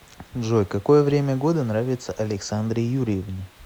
джой какое время года нравится александре юрьевне